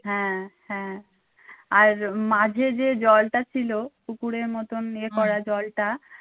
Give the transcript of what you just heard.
হ্যাঁ হ্যাঁ আর মাঝে যে জলটা ছিল পুুকুরের মতন ইয়ে করা জলটা।